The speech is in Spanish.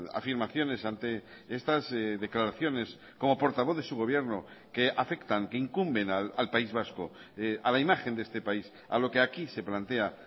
afirmaciones ante estas declaraciones como portavoz de su gobierno que afectan que incumben al país vasco a la imagen de este país a lo que aquí se plantea